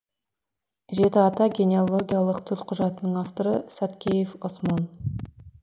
жеті ата генеалогиялық төлқұжатының авторы саткеев осмон